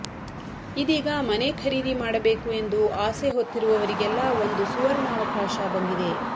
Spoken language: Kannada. ಇದೀಗ ಮನೆ ಖರೀದಿ ಮಾಡಬೇಕು ಎಂದು ಆಸೆ ಹೊತ್ತಿರುವವರಿಗೆಲ್ಲ ಒಂದು ಸುವರ್ಣಾವಕಾಶ ಬಂದಿದೆ